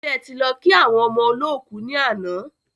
Ṣe ẹ ti lọ kí àwọn ọmọ olọ́kù ni àná?